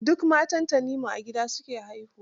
Duk matan Tanimu a gida su ke haihuwa.